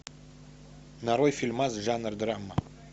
нарой фильмас жанр драма